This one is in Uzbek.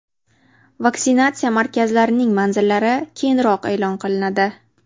Vaksinatsiya markazlarining manzillari keyinroq e’lon qilinadi.